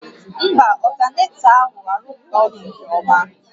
Mba, ọltanetọ ahụ arụghị ọrụ nke ọma